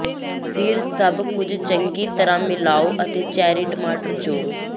ਫਿਰ ਸਭ ਕੁਝ ਚੰਗੀ ਤਰਾਂ ਮਿਲਾਓ ਅਤੇ ਚੈਰੀ ਟਮਾਟਰ ਜੋੜੋ